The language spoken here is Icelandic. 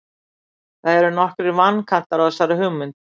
Það eru nokkrir vankantar á þessari hugmynd.